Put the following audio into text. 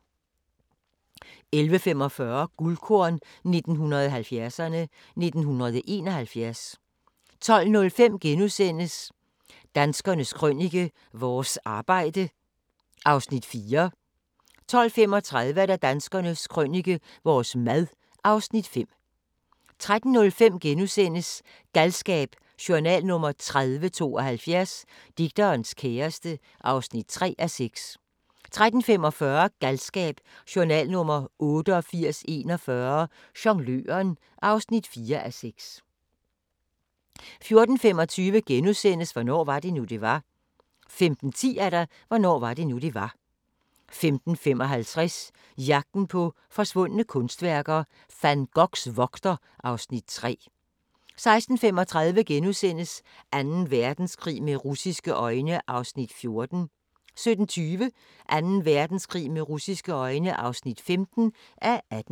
11:45: Guldkorn 1970'erne: 1971 12:05: Danskernes Krønike - vores arbejde (Afs. 4)* 12:35: Danskernes Krønike - vores mad (Afs. 5) 13:05: Galskab: Journal nr. 3072 - Digterens kæreste (3:6)* 13:45: Galskab: Journal nr. 8841 - Jongløren (4:6) 14:25: Hvornår var det nu, det var? * 15:10: Hvornår var det nu, det var? 15:55: Jagten på forsvundne kunstværker - Van Goghs vogter (Afs. 3) 16:35: Anden Verdenskrig med russisje øjne (14:18)* 17:20: Anden Verdenskrig med russiske øjne (15:18)